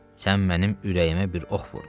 Sən mənim ürəyimə bir ox vurdun.